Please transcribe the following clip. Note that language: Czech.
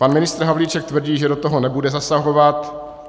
Pan ministr Havlíček tvrdí, že do toho nebude zasahovat.